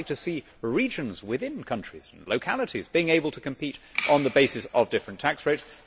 I would like to see regions within countries and localities being able to compete on the basis of different tax rates.